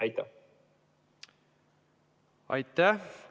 Aitäh!